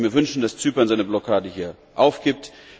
Ich würde mir wünschen, dass Zypern seine Blockade hier aufgibt.